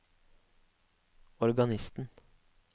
organisten